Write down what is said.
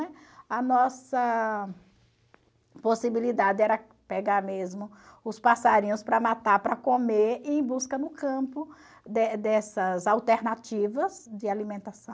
A nossa possibilidade era pegar mesmo os passarinhos para matar, para comer, e ir em busca no campo de dessas alternativas de alimentação.